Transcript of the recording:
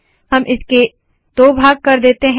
हम इसके दो भाग कर देते है